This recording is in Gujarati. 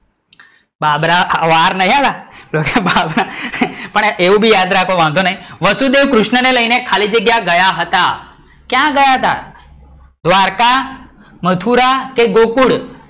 બાબરા, વાર નઈ હા, બાબરા પણ એવું બી યાદ રાખો વાંધો નય, વસુદેવ કૃષ્ણ ને લઇ ને ખાલી જગ્યા લઇ ગયા હતા, ક્યાં ગયા હતા? દ્વારકા, મથુરા, કે ગોકુલ?